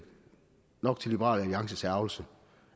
nok til liberal alliances ærgrelse